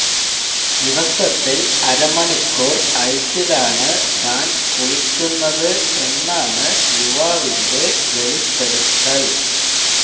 ദിവസത്തില് അരമണിക്കൂര് ഐസിലാണ് താന് കുളിക്കുന്നത് എന്നാണ് യുവാവിന്റെ വെളിപ്പെടുത്തല്